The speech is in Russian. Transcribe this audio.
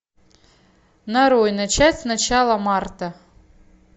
нарой начать с начала марта